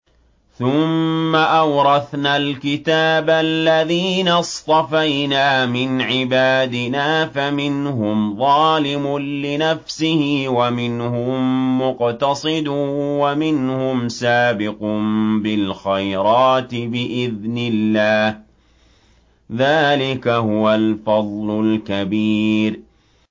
ثُمَّ أَوْرَثْنَا الْكِتَابَ الَّذِينَ اصْطَفَيْنَا مِنْ عِبَادِنَا ۖ فَمِنْهُمْ ظَالِمٌ لِّنَفْسِهِ وَمِنْهُم مُّقْتَصِدٌ وَمِنْهُمْ سَابِقٌ بِالْخَيْرَاتِ بِإِذْنِ اللَّهِ ۚ ذَٰلِكَ هُوَ الْفَضْلُ الْكَبِيرُ